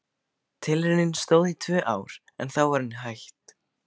Tilraunin stóð í tvö ár en þá var henni hætt.